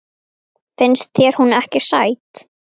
Finnst þér hún ekki sæt?